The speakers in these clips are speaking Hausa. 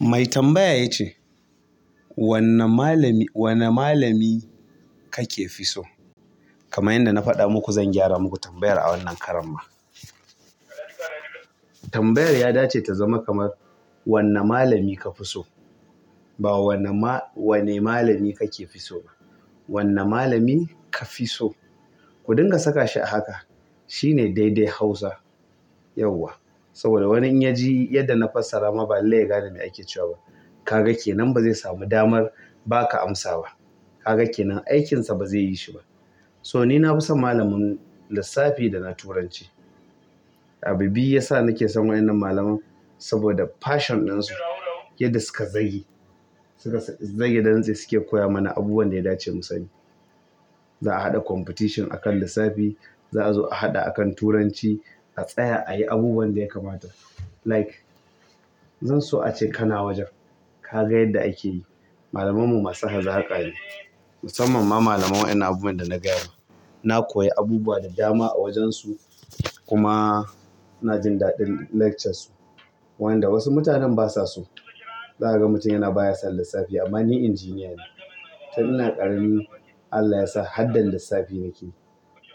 Mai tambaya ya ce, "Wanne malami, wanne malami kake fi so?" Kamar yanda na faɗa muku zan gyara muku tambayar a wannan karon ma. Tambayar ya dace ta zama kamar, "Wanne malami ka fi so?" Ba wanne ma-- wanne malami kake fi so ba. Wanne malami ka fi so. Ku dinga saka shi a haka. Shi ne daidai Hausa yauwa. Saboda wani in ya ji yadda na fassara ma ba lallai ya gane me ake cewa ba. Kaga kenan ba zai sami damar baka amsa ba ka ga kenan aikinsa ba zai yi shi ba. To ni na fi son malamin lissafi da na turanci. Abu biyu ya sa nake son waɗannan malaman. Saboda passion ɗinsu, yadda suka zage. Suka zage dantse suke koya mana abubuwan da ya dace da mu sani zaa haɗa competition a kan lissafi zaa zo a haɗa a kan turanci. A tsaya a yi abubuwan da ya kamata. Like, zan so ace kana wajen ka ga yadda ake yi. Malamanmu masu hazaƙa ne. Musamman ma malaman waɗannan abubuwan da na gaya ma. Na koyi abubuwa da dama a wajen su. Kuma ina jin daɗin lecture su. Wanda wasu mutanen ba sa so. Za ka ga mutum yana baya san lissafi amma ni engineer ne. Tun ina ƙarami Allah ya sa hadda lissafi nake yi.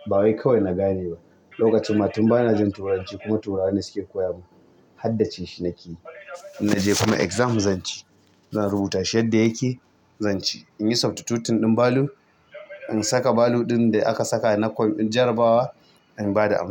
Ba wai kawai na gane ba. Lokacin ma tun bana jin Turanci kuma turawa ne suke koya mun. Haddace shi nake yi. In na je kuma exam zan ci. Zan rubuta shi yadda yake zan ci. In yi substitution ɗin value. In saka value ɗin da aka saka na jarabawa. In ba da amsa.